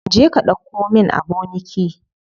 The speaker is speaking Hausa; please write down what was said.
Je ka ɗauko min aboniki.